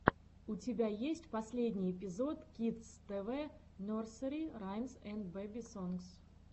у тебя есть последний эпизод кидс тэ вэ нерсери раймс энд бэби сонгс